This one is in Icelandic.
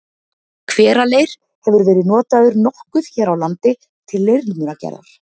Hveraleir hefur verið notaður nokkuð hér á landi til leirmunagerðar.